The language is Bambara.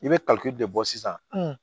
I bɛ de bɔ sisan